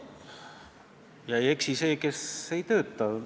Ei eksi see, kes ei tööta.